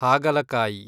ಹಾಗಲಕಾಯಿ